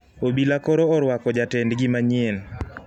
Obila koro orwako jatend gi manyien